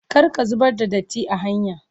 Kar ka zubar da datti are hanya.